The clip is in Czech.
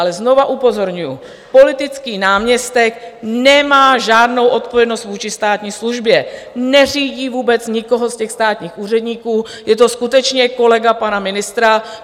Ale znovu upozorňuju, politický náměstek nemá žádnou odpovědnost vůči státní službě, neřídí vůbec nikoho z těch státních úředníků, je to skutečně kolega pana ministra.